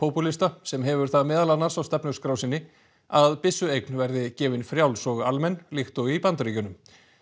hægripopúlista sem hefur það meðal annars á stefnuskrá sinni að byssueign verði gefin frjáls og almenn líkt og í Bandaríkjunum